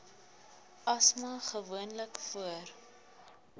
asma gewoonlik voor